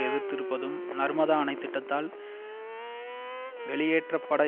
எதிர்த்திருப்பதும் நர்மதா அணைத் திட்டத்தால் வெளியேற்றப்பட